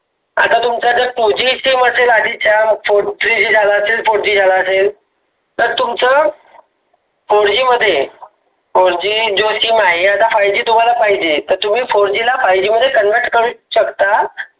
आता तुमचा जर two g sim त्याचात three झाल असेल fourg झाल असेल. तुमचं fourg मध्ये four double sim आहे तुम्हाला पाहिजे त तुम्ही fourg ला पाहिजे मध्ये convert करू शकता.